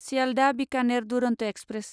Sealdah Bikaner Duronto express